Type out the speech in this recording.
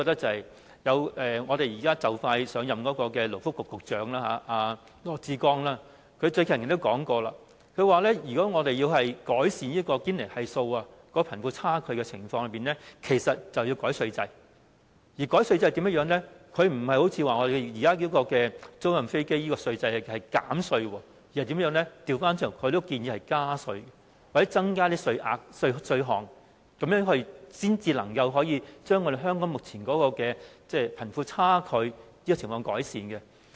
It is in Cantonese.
即將上任的勞工及福利局局長羅致光近日也提到，如果我們想改善堅尼系數和貧富差距情況，其實便應該修改稅制，而對於修改稅制的方法，他並非提議像現時我們對租賃飛機的稅制所做般的減稅，而是倒過來建議加稅，或者增加稅率和稅項，從而把香港目前的貧富差距情況改善。